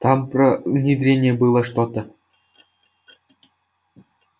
там про внедрение было что-то